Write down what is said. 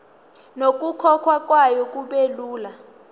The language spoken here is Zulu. nokukhokhwa kwayo kubelula